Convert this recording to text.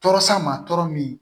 Tɔɔrɔ san ma tɔɔrɔ min